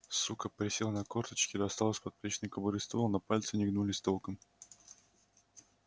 сука присел на корточки достал из подплечной кобуры ствол но пальцы не гнулись толком